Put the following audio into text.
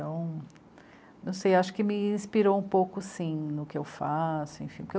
não sei, acho que me inspirou um pouco sim, no que eu faço... enfim... porquê eu